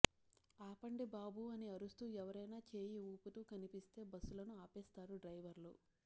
ఆపండి బాబూ అని అరుస్తూ ఎవరైనా చేయి ఊపుతూ కనిపిస్తే బస్సులను ఆపేస్తారు డ్రైవర్లు